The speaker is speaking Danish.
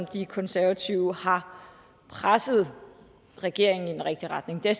de konservative har presset regeringen i den rigtige retning det er